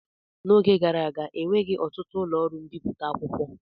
N'oge gara aga enweghị ọtụtụ ụlọ ọrụ mbipụta akwụkwọ.